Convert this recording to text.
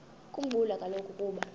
khumbula kaloku ukuba